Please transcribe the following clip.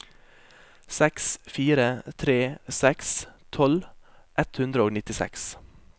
seks fire tre seks tolv ett hundre og nittiseks